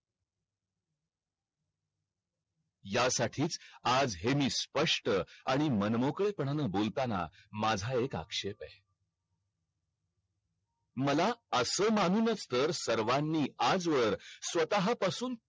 या साठीच आज हे मी स्पष्ट आणि मनमोकळे पानांन बोलताना माझा एक आक्षेप आहे मला आस म्हणूनच तर सर्वानी आज वर स्वतहा पासून